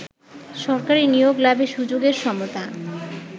সরকারি নিয়োগ লাভে সুযোগের সমতা